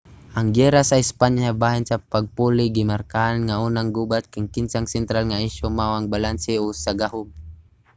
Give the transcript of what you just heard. ang giyera sa espanya bahin sa pagpuli gimarkahan nga unang gubat kang kinsa ang sentral nga isyu mao ang balanse sa gahum